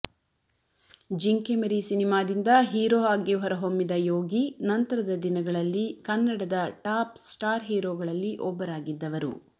ಜಿಂಕೆಮರಿ ಸಿನಿಮಾದಿಂದ ಹೀರೋ ಆಗಿ ಹೊರಹೊಮ್ಮಿದ ಯೋಗಿ ನಂತರದ ದಿನಗಳಲ್ಲಿ ಕನ್ನಡದ ಟಾಪ್ ಸ್ಟಾರ್ ಹೀರೋಗಳಲ್ಲಿ ಒಬ್ಬರಾಗಿದ್ದವರು